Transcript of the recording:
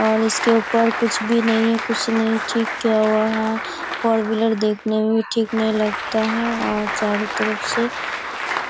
और इसके ऊपर कुछ भी नहीं है कुछ नहीं ठीक किया हुआ है फोर व्हीलर देखने में ठीक नहीं लगता है और चारों तरफ से